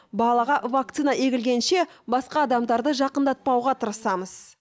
балаға вакцина егілгенше басқа адамдарды жақындатпауға тырысамыз